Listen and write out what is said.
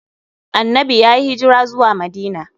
Annanbi yayi hijira zuwa Madina.